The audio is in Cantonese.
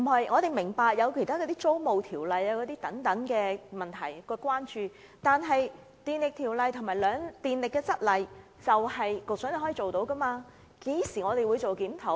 我們明白當局對現行租務條例等問題的關注，但檢討《電力條例》及《供電則例》是局長能力範圍以內的事，何時才會檢討？